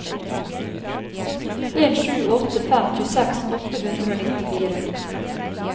en sju åtte fem tjueseks åtte hundre og nittifire